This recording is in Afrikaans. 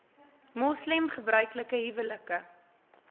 moslem gebruiklike huwelike